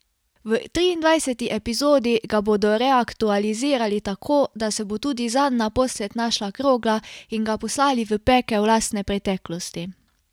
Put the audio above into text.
V triindvajseti epizodi ga bodo reaktualizirali tako, da se bo tudi zanj naposled našla krogla, in ga poslali v pekel lastne preteklosti.